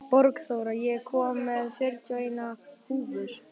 Borgþóra, ég kom með fjörutíu og eina húfur!